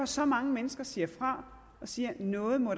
så mange mennesker siger fra og siger at noget må